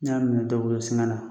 N y'a minɛ dɔ bolo singa la.